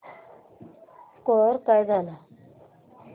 score काय झाला